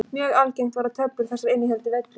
Mjög algengt var að töflur þessar innihéldu villur.